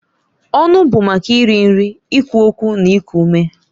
Ọnụ bụ maka iri nri, ikwu okwu na iku ume.